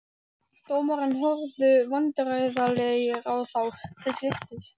Dómararnir horfðu vandræðalegir á þá til skiptis.